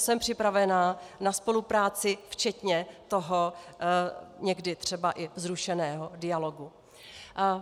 Jsem připravená na spolupráci včetně toho někdy třeba i vzrušeného dialogu.